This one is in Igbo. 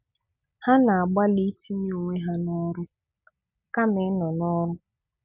Ha na-agbalị itinye onwe ha n'ọrụ kama ịnọ n'ọrụ.